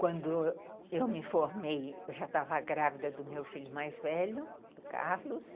Quando eu me formei, eu já estava grávida do meu filho mais velho, do Carlos.